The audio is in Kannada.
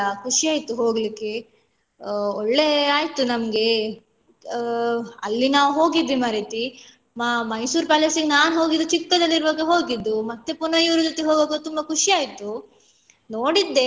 ಖುಷಿ ಆಯ್ತು ಹೋಗ್ಲಿಕ್ಕೆ ಆ ಒಳ್ಳೆ ಆಯ್ತು ನಮ್ಗೆ ಆ ಅಲ್ಲಿ ನಾವು ಹೋಗಿದ್ವಿ ಮಾರೈತಿ ಮ~ Mysore palace ನಾನ್ ಹೋಗಿದ್ದು ಚಿಕ್ಕದಲ್ಲಿರುವಾಗ ಹೋಗಿದ್ದು ಮತ್ತೆ ಪುನ ಇವ್ರ ಜೊತೆ ಹೋಗುವಾಗ ತುಂಬ ಖುಷಿ ಆಯ್ತು ನೋಡಿದ್ದೆ.